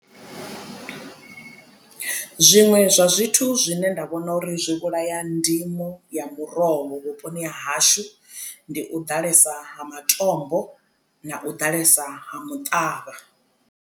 Zwiṅwe zwa zwithu zwine nda vhona uri zwi vhulaya ndimo ya muroho vhuponi ha hashu ndi u ḓalesa ha matombo na u ḓalesa ha muṱavha.